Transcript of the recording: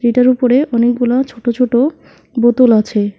এটার উপরে অনেকগুলা ছোট ছোট বোতল আছে।